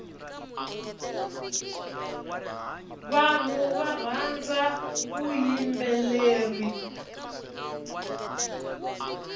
vanhu varhandza vuyimbeleri